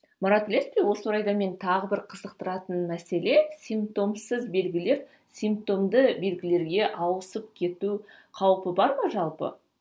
марат білесіз бе осы орайда мені тағы бір қызықтыратын мәселе симптомсыз белгілер симптомды белгілерге ауысып кету қаупі бар ма жалпы